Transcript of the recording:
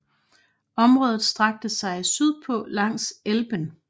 Området strakte sig sydpå langs Elben